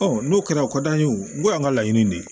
n'o kɛra o ka d'an ye o y'an ka laɲini de ye